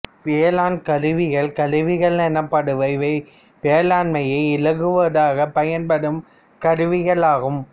வேளாண் கருவிகள் கருவிகள் எனப்படுபவை வேளாண்மையை இலகுவாக்கப் பயன்படும் கருவிகளாகும்